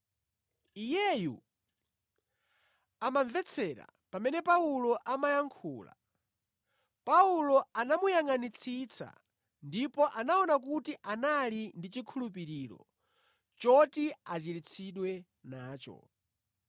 Iyeyu, amamvetsera pamene Paulo amayankhula. Paulo anamuyangʼanitsitsa ndipo anaona kuti anali ndi chikhulupiriro choti achiritsidwe nacho.